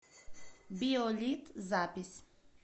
биолит запись